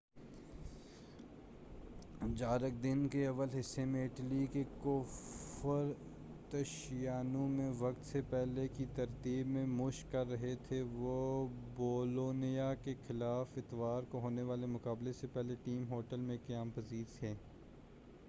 جارق دن کے اول حصے میں اٹلی کے کوفرتشیانو میں وقت سے پہلے کی تربیت میں مشق کر رہے تھے وہ بولونیا کے خلاف اتوار کو ہونے والے مقابلے سے پہلے ٹیم ہوٹل میں قیام پذیر تھے